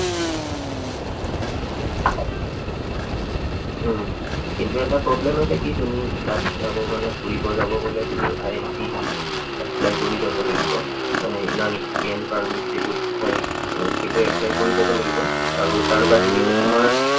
উম কিন্তু এটা problem আছে কি তুমি তাত যাবৰ কাৰনে, ফুৰিবৰ যাব গলে তুমি ILP apply কৰি যাব লাগিব। মানে inner line permit যিটো কয়, এৰ সেইটো apply কৰি যাব লাগিব। আৰু তাৰ বাহিৰেও তোমাৰ